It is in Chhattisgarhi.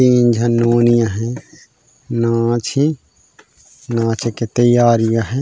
तीन झन नोनी अ है नोवा छी नोवा छके तैयारी अ है।